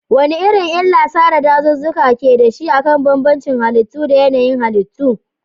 Wane irin illar sare dazuzzuka ke da shi akan bambancin halittu da yanayin halittu?